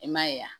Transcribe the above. I m'a ye wa